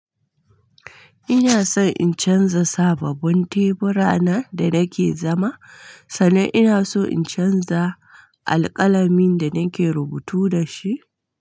Ina son in canza sabobbin tebura nan da nake zama, sannan ina so in canza alƙalamin da nake rubutu da shi.